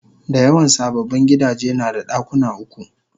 Dayawan sababbin gidaje nada dakuna uku